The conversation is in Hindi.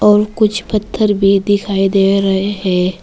और कुछ पत्थर भी दिखाई दे रहे है।